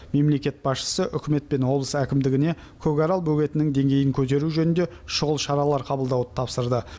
мемлекет басшысы үкімет пен облыс әкімдігіне көкарал бөгетінің деңгейін көтеру жөнінде шұғыл шаралар қабылдауды тапсырды